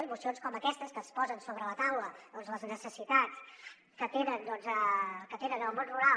i mocions com aquestes en què es posen sobre la taula les necessitats que tenen en el món rural